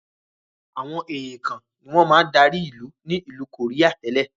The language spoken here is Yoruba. Àwọn èèkàn ni wọn máa dárí ilu ni ilu koría tẹ́lẹ̀.